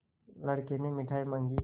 लड़के ने मिठाई मॉँगी